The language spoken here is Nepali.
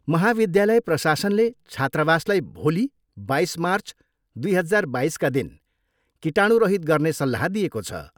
महाविद्यालय प्रशासनले छात्रावासलाई भोलि, बाइस मार्च दुई हजार बाइसका दिन कीटाणुरहित गर्ने सल्लाह दिएको छ।